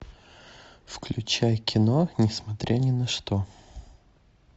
включай кино не смотря ни на что